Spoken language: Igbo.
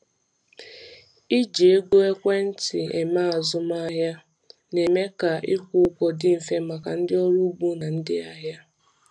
Iji ego ekwentị eme azụmahịa na-eme ka ịkwụ ụgwọ dị mfe maka ndị ọrụ ugbo na ndị ahịa.